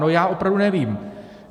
No já opravdu nevím.